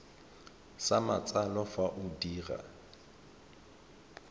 sa matsalo fa o dira